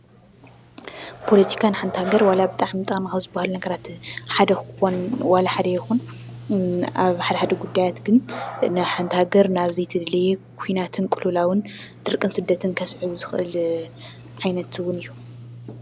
ፖለቲካ ንሃገር ጠቐምቲ ካብ ዝበሃሉ ነገራት ዋላ ሓደ ይኹን ሓደ ሓደ ጉዳያት ግን ንሓንቲ ሃገር ናብ ዘይተደለየ ኲናትን ቅልውላውን፣ ድርቅን ስደትን ከስዕብ ዝኽእል ዓይነት እውን እዩ፡፡